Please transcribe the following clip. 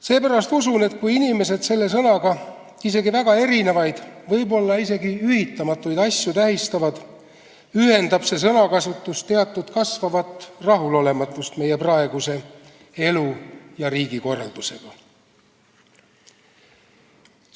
Seepärast usun, et kui inimesed selle sõnaga väga erinevaid, võib-olla isegi ühitamatuid asju tähistavad, näitab see sõnakasutus teatud kasvavat rahulolematust meie praeguse elu- ja riigikorraldusega.